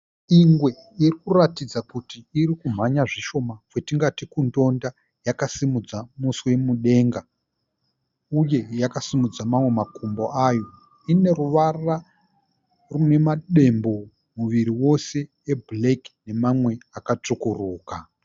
Ingwe iri kuratidza kuti iri kumhanya zvishoma, kwatingati kundonda yakasimudza muswe mudenga uye yakasimudza mamwe makumbo ayo. Ine ruvara rune madembo muviri wose e"black" nemamwe akatsvukuruka.